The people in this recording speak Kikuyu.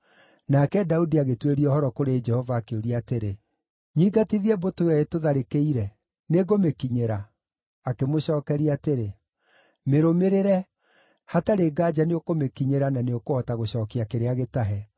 nake Daudi agĩtuĩria ũhoro kũrĩ Jehova, akĩũria atĩrĩ, “Nyingatithie mbũtũ ĩyo ĩtũtharĩkĩire? Nĩngũmĩkinyĩra?” Akĩmũcookeria atĩrĩ, “Mĩrũmĩrĩre, hatarĩ nganja nĩũkũmĩkinyĩra na nĩũkũhota gũcookia kĩrĩa gĩtahe.”